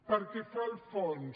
pel que fa al fons